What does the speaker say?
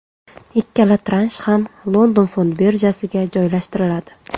Ikkala transh ham London fond birjasiga joylashtiriladi.